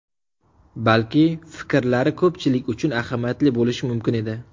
Balki, fikrlari ko‘pchilik uchun ahamiyatli bo‘lishi mumkin edi.